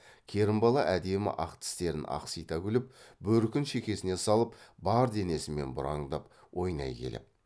керімбала әдемі ақ тістерін ақсита күліп бөркін шекесіне салып бар денесімен бұраңдап ойнай келіп